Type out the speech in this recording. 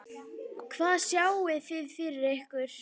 Hvað sjáið þið fyrir ykkur?